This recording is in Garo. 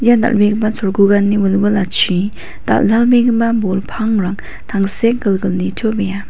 ia dal·begipa cholgugani wilwilachi dal·dalbegipa bol pangrang tangsekgilgil nitobea.